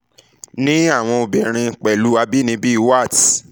ni awọn obirin pẹlu abinibi warts